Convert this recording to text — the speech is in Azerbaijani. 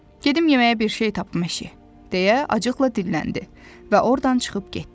Gedim yeməyə bir şey tapım eşiyə, deyə acıqla dilləndi və ordan çıxıb getdi.